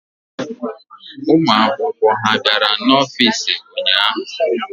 Ụmụ akwụkwọ ha bịara n'ọfiisi ụnyaahụ?